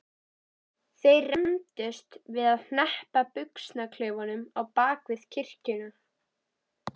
Þeir rembdust við að hneppa buxnaklaufunum á bak við kirkjuna.